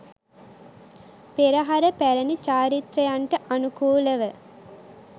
පෙරහර පැරැණි චාරිත්‍රයන්ට අනුකූලව